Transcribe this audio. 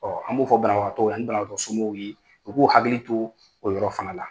an b'o fɔ banabagatɔw ani banabagatɔ somɔgɔw ye, u k'u hakili to o yɔrɔ fana la.